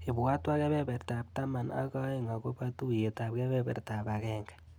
Ibwatwa kebebertap taman aka aeng akobo tuiyetap kebebertap agenge.